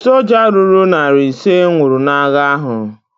Soja ruru narị ise nwụrụ n'agha ahu